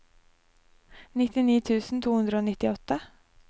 nittini tusen to hundre og nittiåtte